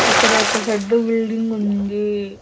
అక్కడ ఒక ఫెద్ద బిల్డింగ్ ఉంది.